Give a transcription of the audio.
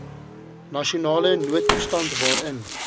nasionale noodtoestand waarin